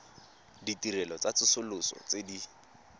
ditirelo tsa tsosoloso tse di